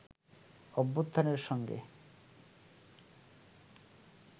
অভ্যুত্থানের সঙ্গে